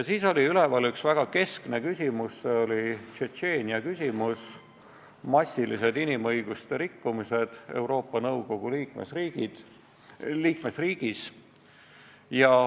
Siis oli üleval üks väga keskne küsimus, see oli Tšetšeenia küsimus, massilised inimõiguste rikkumised Euroopa Nõukogu liikmesriigis.